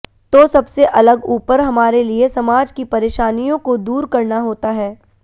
तो सबसे अलग ऊपर हमारे लिए समाज की परेशानियों को दूर करना होता है